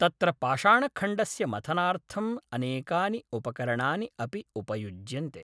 तत्र पाषाणखण्डस्य मथनार्थम् अनेकानि उपकरणानि अपि उपयुज्यन्ते